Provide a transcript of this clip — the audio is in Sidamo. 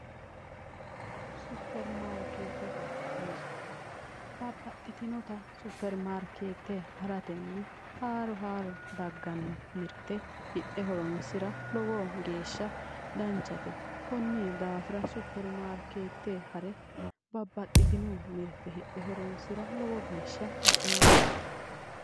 Supirimaariketete mirte babbaxxitinotta supirimaariketete haratenni haaro haaro daggano mirte hidhe horonsira lowo geeshsha danchate konni daafira supirimaarikete hare babbaxxitino mirte hidhe horonsira baxeemma".